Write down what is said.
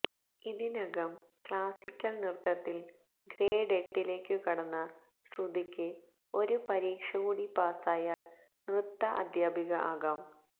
ഇതിനകം ക്ളാസിക്കല് നൃത്തത്തില് ഗ്രേഡ് എട്ടിലേക്കു കടന്ന ശ്രുതിക്ക് ഒരു പരീക്ഷ കൂടി പാസായാല് നൃത്ത അദ്ധ്യാപിക ആകാം